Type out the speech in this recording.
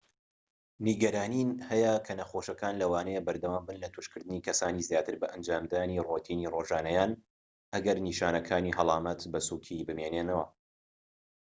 نیگەرانی هەیە کە نەخۆشەکان لەوانەیە بەردەوام بن لە توشکردنی کەسانی زیاتر بە ئەنجامدانی رۆتینی ڕۆژانەیان ئەگەر نیشانەکانی هەڵامەت بە سووکی بمێننەوە